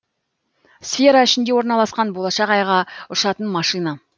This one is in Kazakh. сфера ішінде орналасқан болашақ айға ұшатын машина